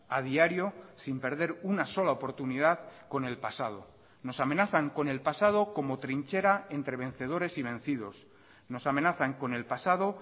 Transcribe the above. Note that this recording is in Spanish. a diario sin perder una sola oportunidad con el pasado nos amenazan con el pasado como trinchera entre vencedores y vencidos nos amenazan con el pasado